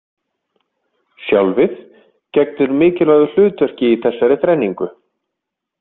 Sjálfið gegnir mikilvægu hlutverki í þessari þrenningu.